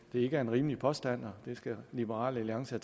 ikke er en rimelig påstand og liberal alliance